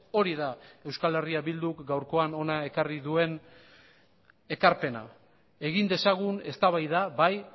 hori da euskal herria bilduk gaurkoan hona ekarri duen ekarpena egin dezagun eztabaida bai